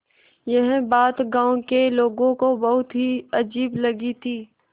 यह बात गाँव के लोगों को बहुत ही अजीब लगी थी